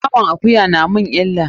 Naman akuya na mun illa.